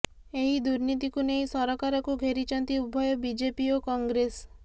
ଏହି ଦୁର୍ନିତିକୁ ନେଇ ସରକାରକୁ ଘେରିଛନ୍ତି ଉଭୟ ବିଜେପି ଓ କଂଗ୍ରେସ